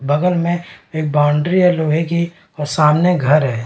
बगल में एक बॉउण्ड्री है लोहे की और सामने घर है।